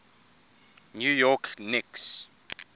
new york knicks